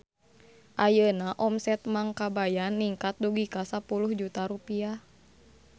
Ayeuna omset Mang Kabayan ningkat dugi ka 10 juta rupiah